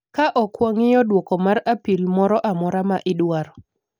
Ka ok wang'iyo duoko mar apil moro amora ma idwaro,